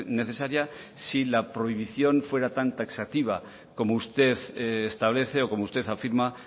necesaria si la prohibición fuera tan taxativa como usted establece o como usted afirma